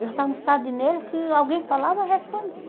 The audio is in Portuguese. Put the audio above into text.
Eu já estava no estado de nervo, que alguém falava, eu respondia.